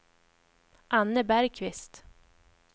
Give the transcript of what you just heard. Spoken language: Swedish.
Anne Bergqvist